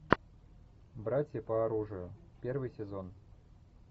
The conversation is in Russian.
братья по оружию первый сезон